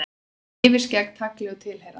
Með yfirskeggi, tagli og tilheyrandi.